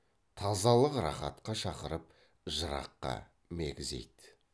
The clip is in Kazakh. тазалық рақатқа шақырып жыраққа мегзейді